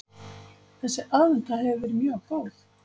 Þessi aðventa hefur verið mjög góð